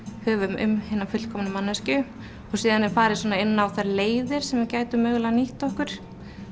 höfum um hina fullkomnu manneskju og síðan er farið inn á þær leiðir sem við gætum mögulega nýtt okkur